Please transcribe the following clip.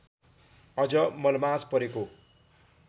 अझ मलमास परेको